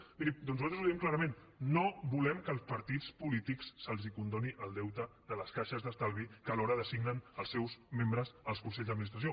miri doncs nosaltres ho diem clarament no volem que als partits polítics se’ls condoni el deute de les caixes d’estalvi de què alhora designen els seus membres als consells d’administració